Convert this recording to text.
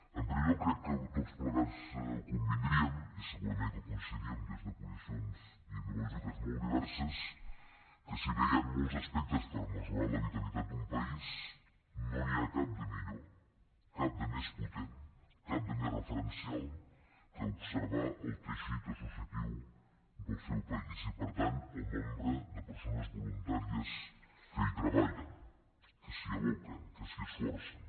en primer lloc crec que tots plegats convindríem i segurament que hi coincidiríem des de posicions ideològiques molt diverses que si bé hi han molts aspectes per mesurar la vitalitat d’un país no n’hi ha cap de millor cap de més potent cap de més referencial que observar el teixit associatiu del seu país i per tant el nombre de persones voluntàries que hi treballen que s’hi aboquen que s’hi esforcen